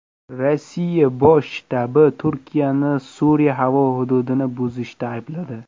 Rossiya Bosh shtabi Turkiyani Suriya havo hududini buzishda aybladi.